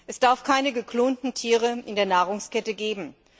Es darf keine geklonten Tiere in der Nahrungskette geben.